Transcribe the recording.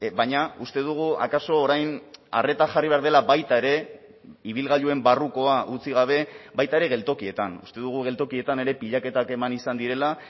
baina uste dugu akaso orain arreta jarri behar dela baita ere ibilgailuen barrukoa utzi gabe baita ere geltokietan uste dugu geltokietan ere pilaketak eman izan direla